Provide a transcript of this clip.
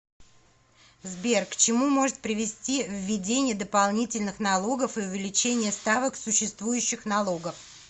сбер к чему может привести введение дополнительных налогов и увеличение ставок существующих налогов